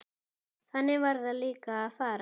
Þannig varð líka að fara.